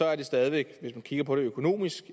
er det stadig væk hvis vi kigger på det økonomisk